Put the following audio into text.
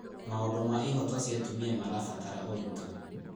Maũndũ ma ihooto cia atumia marabatara ũritũ.